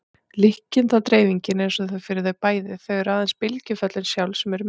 Líkindadreifingin er eins fyrir þau bæði og það eru aðeins bylgjuföllin sjálf sem eru mismunandi.